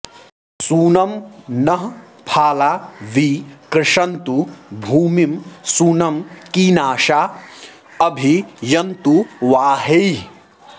शुनं नः फाला वि कृषन्तु भूमिं शुनं कीनाशा अभि यन्तु वाहैः